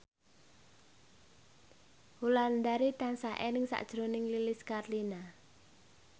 Wulandari tansah eling sakjroning Lilis Karlina